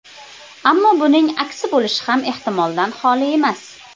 Ammo buning aksi bo‘lishi ham ehtimoldan xoli emas.